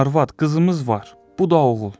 Arvad, qızımız var, bu da oğul.